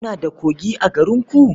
Kuna da kogi a garinku?